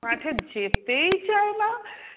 মাঠে যেতেই চাইনা,